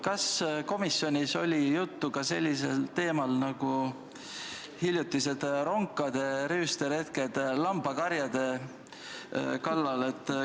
Kas komisjonis oli juttu ka hiljutistest ronkade rüüsteretkedest lambakarjade kallal?